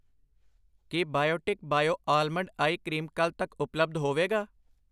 ਕੀ Biotique bio almond eye cream ਕੱਲ੍ਹ ਤੱਕ ਉਪਲੱਬਧ ਹੋਵੇਗਾ?